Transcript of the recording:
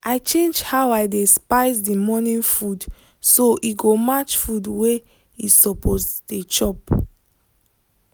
i change how i dey spice the morning food so e go match food wey e suppose dey chop